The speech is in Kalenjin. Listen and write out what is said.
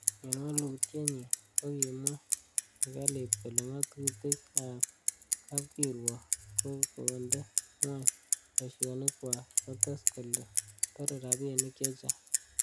En wolutienyin, kokimwa serkalit kole ngatutik ab kapkirwok kokonde ngwony boisinikywak, kotes kole tore rabinik che chang.